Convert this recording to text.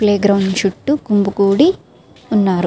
Play ground చుట్టూ గుమ్మికూడి ఉన్నారు.